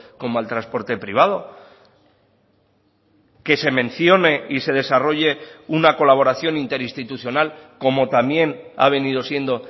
como al transporte privado que se mencione y se desarrolle una colaboración interinstitucional como también ha venido siendo